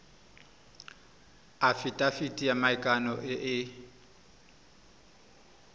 afitafiti ya maikano e e